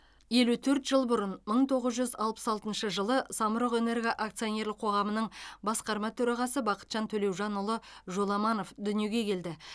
елу төрт жылбұрын мың тоғыз жүз алпыс алтыншы жылы самұрық энерго акционерлік қоғамның басқарма төрағасыбақытжан төлеужанұлы жоламановдүниеге келді